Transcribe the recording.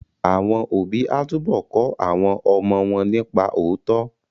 Àwọn òbí á túbọ̀ kọ́ àwọn ọmọ wọn nípa òótọ́